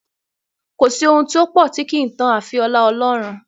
Kò sí ohun tó pọ̀ tí kì í tán àfi ọlá Ọlọ́run.